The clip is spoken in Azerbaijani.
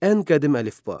Ən qədim əlifba.